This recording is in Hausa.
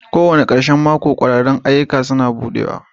Kowane ƙarshen mako, ƙwararrun ayyukan kulawa suna buɗewa.